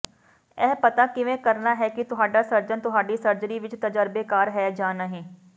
ਇਹ ਪਤਾ ਕਿਵੇਂ ਕਰਨਾ ਹੈ ਕਿ ਤੁਹਾਡਾ ਸਰਜਨ ਤੁਹਾਡੀ ਸਰਜਰੀ ਵਿਚ ਤਜਰਬੇਕਾਰ ਹੈ ਜਾਂ ਨਹੀਂ